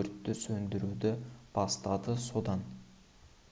өртті сөндіруді бастады содан